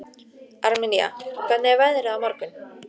Armenía, hvernig er veðrið á morgun?